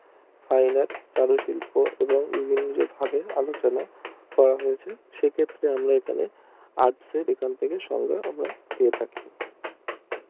তাওবা চারু শিল্প এবং নিজে নিজে ভাবে আলোচনা করা হয়েছে সেক্ষেত্রে আমরা ওখানে আটশো করে থাকি